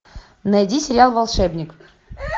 найди сериал волшебник